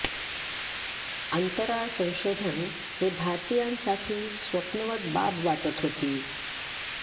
अंतराळ संशोधन हे भारतीयांसाठी स्वप्नवत बाब वाटत होती